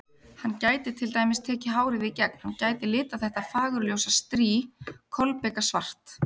Hann gæti til dæmis tekið hárið í gegn, hann gæti litað þetta fagurljósa strý kolbikasvart.